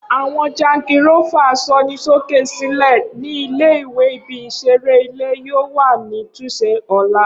Awọn jangirófà asọnisóké sílẹ̀ ni ìle-ìwe ibi isereile yoo wa ni tunše ọla.